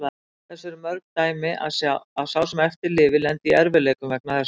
Þess eru mörg dæmi að sá sem eftir lifir lendi í erfiðleikum vegna þessa.